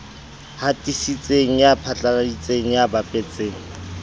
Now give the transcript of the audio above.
hatisitseng ya phatlaladitseng ya bapetseng